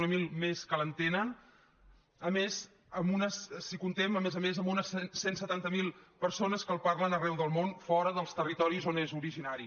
zero que l’entenen i a més comptem a més a més amb unes cent i setanta miler persones que el parlen arreu del món fora dels territoris on és originari